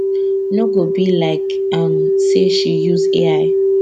no go be like um say she use ai